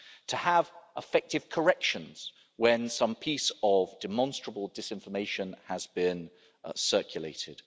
to have effective corrections when some piece of demonstrable disinformation has been circulated.